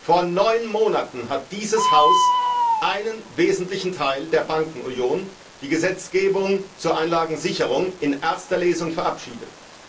Vor neun Monaten hat dieses Haus einen wesentlichen Teil der Bankenunion, die Gesetzgebung zur Einlagensicherung, in erster Lesung verabschiedet.